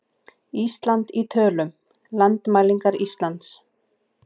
Ísland í tölum- Landmælingar Íslands.